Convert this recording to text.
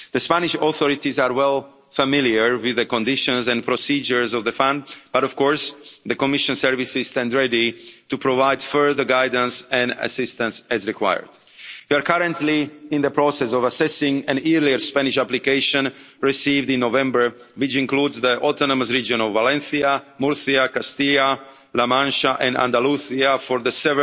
The Spanish authorities are well familiar with the conditions and procedures of the fund, but of course, the Commission services stand ready to provide further guidance and assistance as required. We are currently in the process of assessing an earlier Spanish application received in November, which includes the autonomous region of Valencia, Murcia, Castilla La Mancha and Andalusia for